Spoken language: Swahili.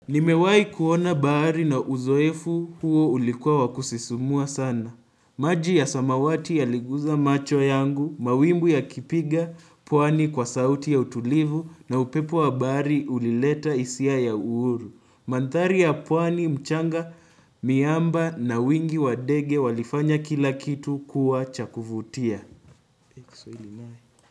Nimewahi kuona bahari na uzoefu huo ulikuwa wakusisimua sana. Maji ya samawati yaliguza macho yangu, mawimbuli ya kipiga, pwani kwa sauti ya utulivu na upepo wa bahari ulileta hisia ya uhuru. Mandhari ya pwani mchanga miamba na wingi wadege walifanya kila kitu kuwa chakuvutia.